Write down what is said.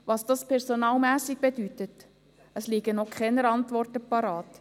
Was dies personalmässig bedeutet, dazu liegen noch keine Antworten bereit.